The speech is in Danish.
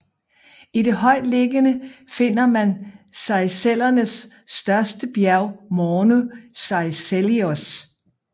I det højtliggende finder man Seychellernes største bjerg Morne Seychellois